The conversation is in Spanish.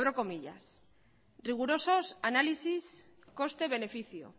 rigurosos análisis coste beneficio